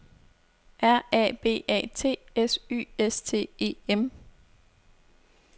R A B A T S Y S T E M